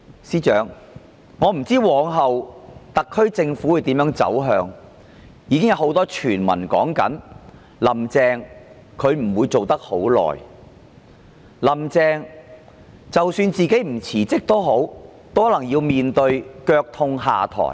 司長，我不知往後特區政府的走向會如何，已有很多傳聞說"林鄭"不會再當多久的特首，即使不自行請辭，也可能要面對"腳痛下台"。